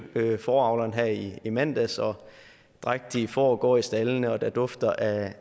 fåreavleren her i i mandags drægtige får går i staldene og der dufter af